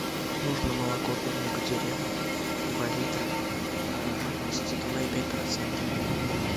нужно молоко домик в деревне два литра жирность два и пять процента